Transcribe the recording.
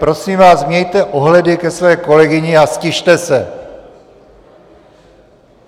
Prosím vás, mějte ohledy ke své kolegyni a ztište se!